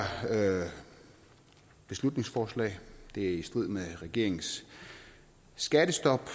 beslutningsforslag det er i strid med regeringens skattestop